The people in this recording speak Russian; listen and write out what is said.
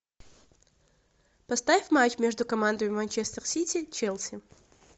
поставь матч между командами манчестер сити челси